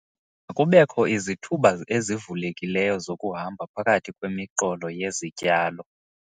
Makubekho izithuba ezivulekileyo zokuhamba phakathi kwemiqolo yezityalo.